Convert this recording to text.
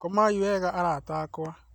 Komai wega arata akwa